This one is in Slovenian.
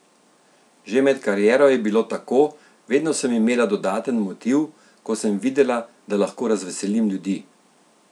Že med kariero je bilo tako: 'Vedno sem imela dodaten motiv, ko sem videla, da lahko razveselim ljudi.